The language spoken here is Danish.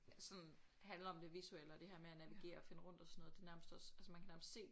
Sådan handler om det visuelle og det her med at navigere og finde rundt og sådan noget det nærmest også altså man kan nærmest se